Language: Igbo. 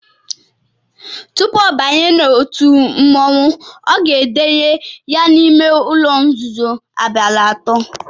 Tupu ọ banye n’otu mmọnwụ a ga-edenye ya n’ime ụ̣̣lọ̣ nzuzo abalị atọ